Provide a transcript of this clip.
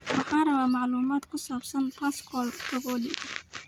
Waxaan rabaa macluumaad ku saabsan pascal tokodi